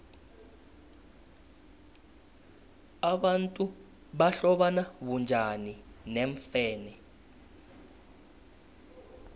abantu bahlobana bunjani neemfene